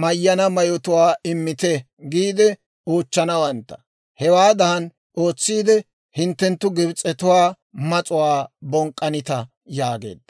mayyana mayotuwaa ‹Immite› giide oochchanawantta. Hewaadan ootsiide hinttenttu Gibs'etuwaa mas'uwaa bonk'k'anitta» yaageedda.